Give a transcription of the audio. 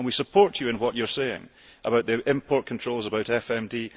We support you in what you are saying about the import controls and about FMD.